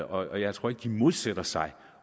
og jeg tror ikke de modsætter sig